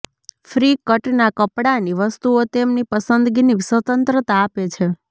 free કટના કપડાની વસ્તુઓ તેમની પસંદગીની સ્વતંત્રતા આપે છે